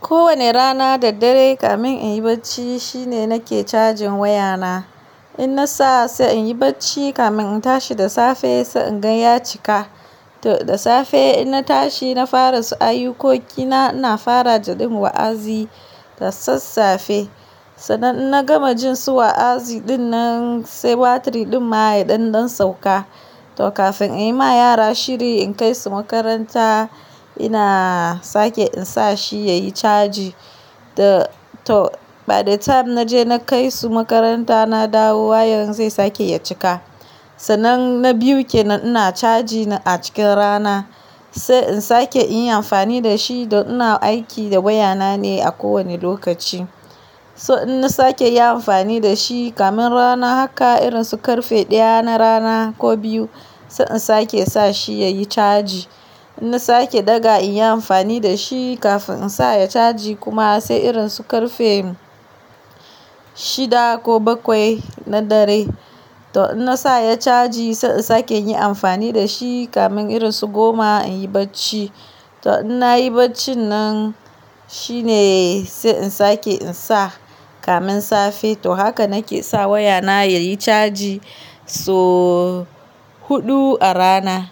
Ko wane rana da dare, kamun in yi bacci shine nake cajin wayana. In na sa sai in yi bacci kamun in tashi da safe, sai in gan ya cika. To da safe in na tashi, na fara su ayukoki na, ina fara jaɗin wa'azi da sassafe. Sannan in na gama jin su wa'azi din nan, sai batiri din ma yaɗanɗan sauka. To kafin inyi ma yara shiri in kai su makaranta, ina sake in sa shi ya yi caji. Da to, by the time na je na kai su makaranta, na dawo wayar zai sake ya cika. Sannan na biyu ke nan ina caji na a cikin rana, sai in sake in yi amfani da shi da ina aiki da wayana ne a ko wane lokaci. So in na sake yi amfani da shi kamun rana haka irin su karfe ɗaya na rana ko biyu, sai in sake sa shi ya yi caji. In na sake daga in yi amfani da shi kafin in sa ya caji kuma sai irin su karfe shida ko bakwai na dare. To in na sa ya caji, sai in sake yin amfani da shi kamun irin su goma in yi bacci. To in na yi bacci nan shine sai in sake in sa kamun safe. To haka nake sa wayana yayi caji so huɗu a rana.